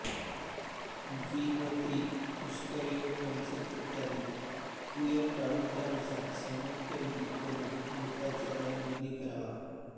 द्वि व त्रि पुष्कर योग पंचक इत्यादी कुयोग टाळून त्यानुसार संमतविधी करून मृताचा दहनविधी करावा